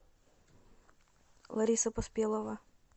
лариса поспелова